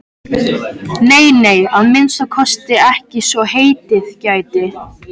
Nei, nei, að minnsta kosti ekki svo heitið gæti.